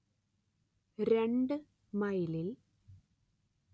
രണ്ട്‌ മൈലിൽ